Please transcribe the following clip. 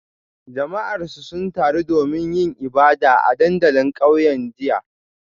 Jama'arsu sun taru domin yin ibada a dandalin kauyen jiya